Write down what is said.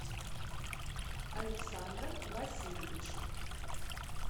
александром васильевичем